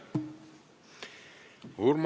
Aitäh!